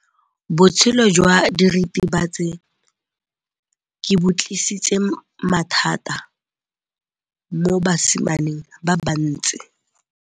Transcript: Botshelo jwa diritibatsi ke bo tlisitse mathata mo basimaneng ba bantsi.